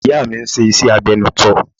Ìyá mi ń ṣe iṣẹ́ agbẹnuṣọ